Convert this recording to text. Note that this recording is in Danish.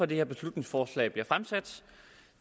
det her beslutningsforslag bliver fremsat